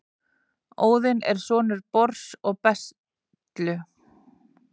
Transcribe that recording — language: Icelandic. óðinn er sonur bors og bestlu